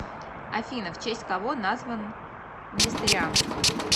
афина в честь кого назван несторианство